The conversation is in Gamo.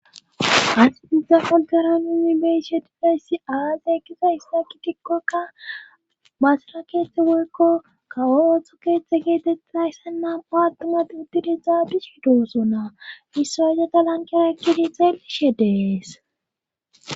asati polgara nimmi beishetifeyssi aaze ekkiza issaki tikkokka baasira keethte goykko kawo oththo keexxe geetei aysse nam7o attumat udtidiza bisidooso na israjeta lankera ekkidi xeel7ishe dees